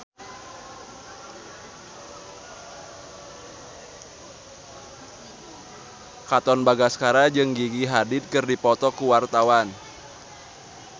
Katon Bagaskara jeung Gigi Hadid keur dipoto ku wartawan